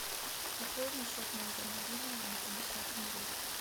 пополни счет моего мобильного на пятьдесят рублей